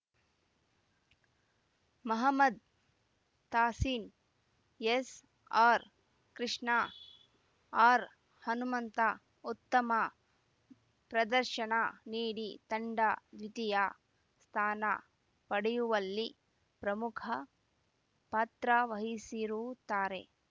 ಮಹಮ್ಮದ್‌ ತಾಸೀನ್‌ ಎಸ್‌ಆರ್‌ಕೃಷ್ಣ ಆರ್‌ಹನುಮಂತ ಉತ್ತಮ ಪ್ರದರ್ಶನ ನೀಡಿ ತಂಡ ದ್ವಿತೀಯ ಸ್ಥಾನ ಪಡೆಯುವಲ್ಲಿ ಪ್ರಮುಖ ಪಾತ್ರವಹಿಸಿರುತ್ತಾರೆ